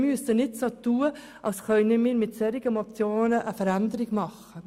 Wir müssen nicht so tun, als könnten wir mit solchen Motionen eine Veränderung herbeiführen.